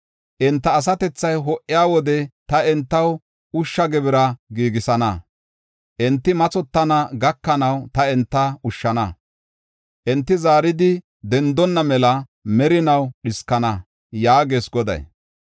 Enta asatethay ho77iya wode, ta entaw ushsha gibira giigisana. Enti mathotana gakanaw ta enta ushshana; enti zaaridi dendonna mela merinaw dhiskana” yaagees Goday.